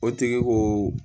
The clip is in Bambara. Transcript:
O tigi ko